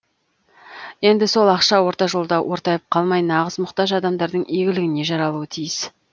енді сол ақша орта жолда ортайып қалмай нағыз мұқтаж адамдардың игілігіне жарауы тиіс